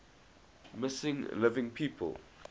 missing living people